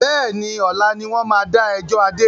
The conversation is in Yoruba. Bẹ́ẹ̀ni, ọ̀la ni wọn máa da ẹjọ́ Adé.